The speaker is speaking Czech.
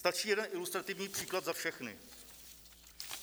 Stačí jeden ilustrativní příklad za všechny.